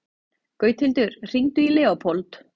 Gauthildur, hringdu í Leópold.